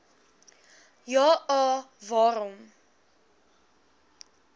ja a waarom